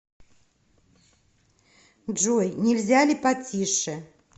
джой нельзя ли потише